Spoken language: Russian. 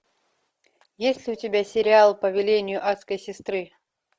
есть ли у тебя сериал по велению адской сестры